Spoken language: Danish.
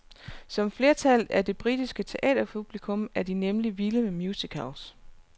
Som flertallet af det britiske teaterpublikum er de nemlig vilde med musicals.